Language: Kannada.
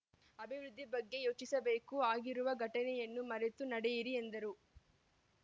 ಅಭಿವೃದ್ಧಿ ಬಗ್ಗೆ ಯೋಚಿಸಬೇಕು ಆಗಿರುವ ಘಟನೆಯನ್ನು ಮರೆತು ನಡೆಯಿರಿ ಎಂದರು